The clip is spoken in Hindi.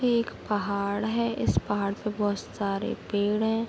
ये एक पहाड़ है इस पहाड़ पे बहोत सारे पेड़ हैं।